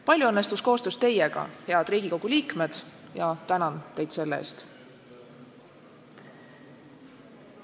Palju õnnestus koostöös teiega, head Riigikogu liikmed, ja tänan teid selle eest.